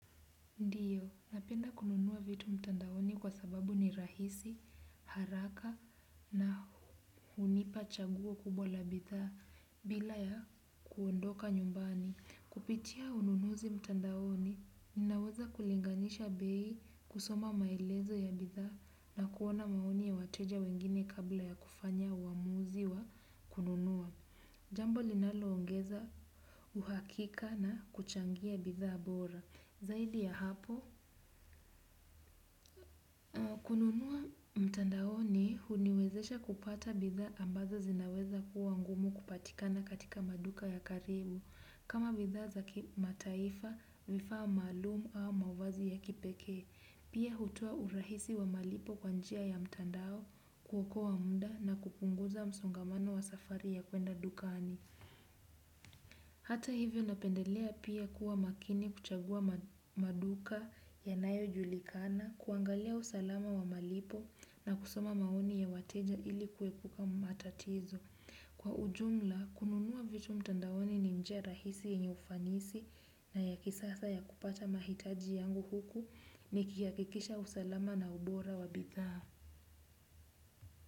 Ndiyo, napenda kununua vitu mtandaoni kwa sababu ni rahisi, haraka na hunipa chaguo kubwa la bidhaa bila ya kuondoka nyumbani. Kupitia ununuzi mtandaoni, ninaweza kulinganisha bei kusoma maelezo ya bidhaa na kuona maoni ya wateja wengine kabla ya kufanya uamuzi wa kununua. Jambo linaloongeza uhakika na kuchangia bidhaa bora. Zaidi ya hapo, kununua mtandaoni huniwezesha kupata bidhaa ambazo zinaweza kuwa ngumu kupatikana katika maduka ya karibu. Kama bidhaa za kimataifa vifaa maalum au mavazi ya kipekee. Pia hutoa urahisi wa malipo kwa njia ya mtandao kuokoa muda na kupunguza msongamano wa safari ya kuenda dukani. Hata hivyo napendelea pia kuwa makini kuchagua maduka yanayojulikana, kuangalia usalama wa malipo na kusoma maoni ya wateja ili kuepuka matatizo. Kwa ujumla, kununua vitu mtandaoni ni njia rahisi yenye ufanisi na ya kisasa ya kupata mahitaji yangu huku nikihakikisha usalama na ubora wa bidhaa.